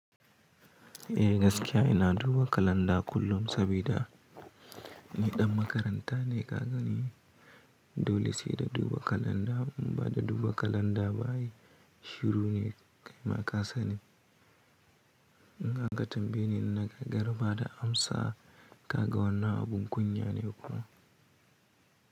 Eh gaskiya ina duba kalanda kullum sabida ni ɗan makaranta ne kaga ni, dole sai da duba kalanda. In ba da duba kalanda ba ai shiru ne kai ma ka sani. In aka tambayeni in na gagara bada amsa ka ga wannan abun kunya ne kuwa.